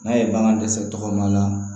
N'a ye bagan dɛsɛ tɔgɔ la